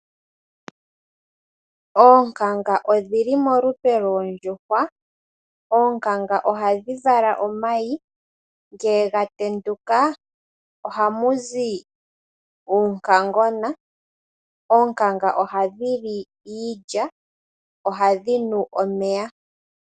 Oonkanga odhi li molupe loondjuhwa. Oonkanga ohadhi vala omayi, ngele ga tenduka ohamu zi uunkangona. Oonkanga ohadhi li iilya, ohadhi nu omeya.